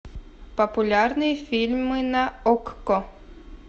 популярные фильмы на окко